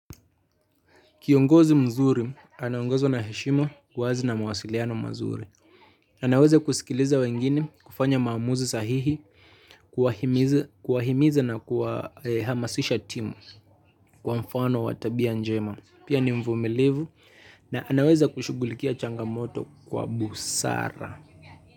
Kiongozi mzuri, anaongozwa na heshima uwazi na mawasiliano mazuri. Anaweza kusikiliza wengine, kufanya maamuzi sahihi, kuwahimiza na kuhamasisha timu, kwa mfano watabia njema. Pia ni mvumilivu na anaweza kushugulikia changamoto kwa busara.